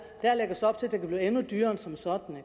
op til at det kan blive endnu dyrere end som så